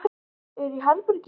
Er í herbergi.